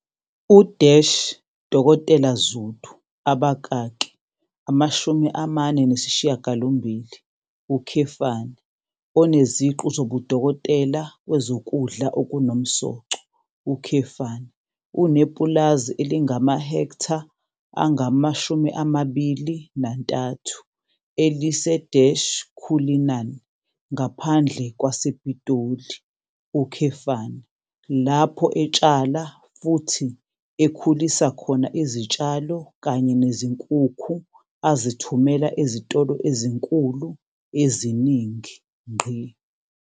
U-Dkt Zulu, 48, oneziqu zobudokotela kwezokudla okunomsoco, unepulazi elingamahektha angama-23 elise-Cullinan ngaphandle kwasePitoli, lapho etshala futhi ekhulisa khona izitshalo kanye nezinkukhu azithumela ezitolo ezinkulu eziningi.